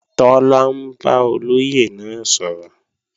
Tọ́lá ń bá olóyè náà sọ̀rọ̀